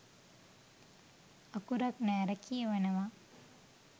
අකුරක් නෑර කියවනවා.